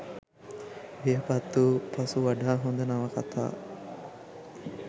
වියපත් වූ පසු වඩා හොඳ නවකතා